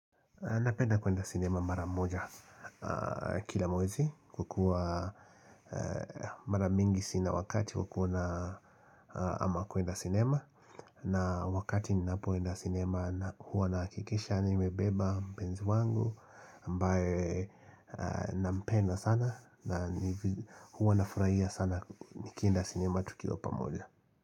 Napenda kuenda sinema mara moja kila mwezi kukua mara mingi sina wakati wa kuona ama kuenda sinema na wakati ninapoenda sinema hua nahakisha nimebeba mpenzi wangu ambae na mpenda sana na hua nafurahia sana nikienda sinema tukiwa pamoja.